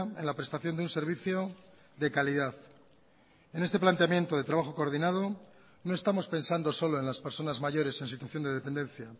en la prestación de un servicio de calidad en este planteamiento de trabajo coordinado no estamos pensando solo en las personas mayores en situación de dependencia